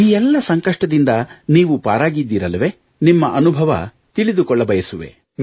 ಈ ಎಲ್ಲ ಸಂಕಷ್ಟದಿಂದ ನೀವು ಪಾರಾಗಿದ್ದೀರಲ್ಲವೇ ನಿಮ್ಮ ಅನುಭವ ತಿಳಿದುಕೊಳ್ಳಬಯಸುವೆ